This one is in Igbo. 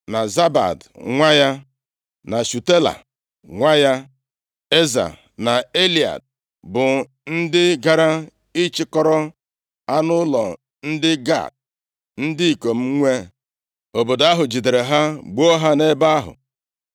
na Zabad nwa ya, na Shutela nwa ya. Eza na Elead bụ ndị gara ịchịkọrọ anụ ụlọ ndị Gat, ndị ikom nwe obodo ahụ jidere ha gbuo ha nʼebe ahụ.